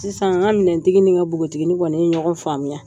Sisan ŋa minɛntigi ni ŋa bogotigini kɔni ye ɲɔgɔn faamuya.